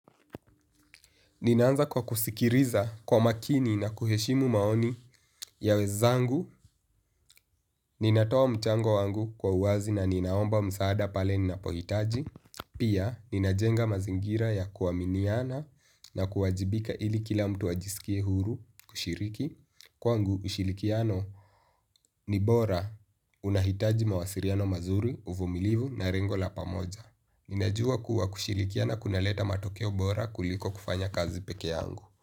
Ninaanza kwa kusikiliza kwa makini na kuheshimu maoni ya wenzangu. Ninatoa mchango wangu kwa uwazi na ninaomba msaada pale ninapohitaji. Pia, ninajenga mazingira ya kuaminiana na kuwajibika ili kila mtu ajisikie huru kushiriki. Kwangu ushirikiano ni bora unahitaji mawasiliano mazuri uvumilivu na lengo la pamoja. Ninajua kuwa kushirikiana kuna leta matokeo bora kuliko kufanya kazi peke yangu.